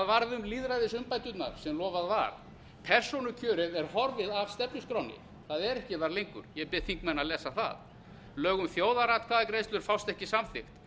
um lýðræðisumbæturnar sem lofað var persónukjörið er horfið af stefnuskránni það er þar ekki lengur ég bið þingmenn að lesa það lög um þjóðaratkvæðagreiðslur fást ekki samþykkt